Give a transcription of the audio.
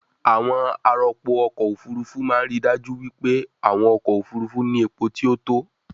àwọn arọpo-ọkọ̀ òfurufú máa ń ríi dájú wípé àwọn ọkọ̀ òfurufú ní epo tí ó tó